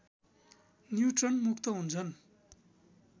neutron मुक्त हुन्छन्